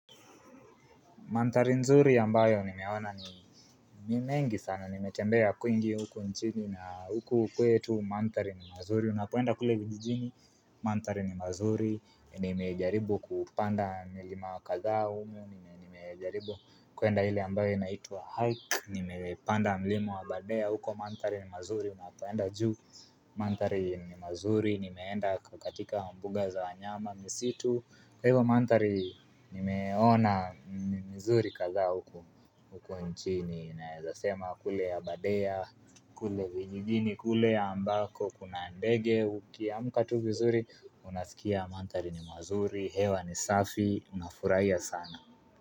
Mandhari nzuri ambayo nimeona ni mengi sana nimetembea kwingi huku nchini na huku kwetu mandhari ni mazuri unapoenda kule vijijini mandhari ni mazuri Nimejaribu kupanda milima wa kadhaa humu nimejaribu kuenda ile ambayo inaituwa hike nimepanda milima wa abadare huko mantdari ni mazuri unapoenda juu mandhari ni mazuri nimeenda katika mambuga za wanyama misitu kwa hivo mandhari nimeona na mzuri kadhaa huku nchini, naezasema kule ya abadare, kule vijijini, kule ambako, kuna ndege, ukiamka tu vizuri, unasikia mandhari ni mazuri, hewa ni safi, unafuraia sana.